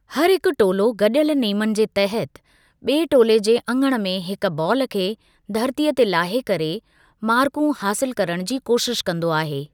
हर हिकु टोलो गडि॒यलु नेमनि जे तहत बि॒एं टोले जे अङणु में हिकु बालु खे धरतीअ ते लाहे करे मार्कूं हासिलु करणु जी कोशिश कंदो आहे।